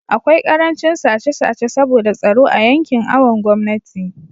akwai karancin sace sace saboda tsaro a yankin awon gomnati